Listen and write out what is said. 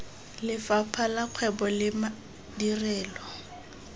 lefapha la kgwebo le madirelo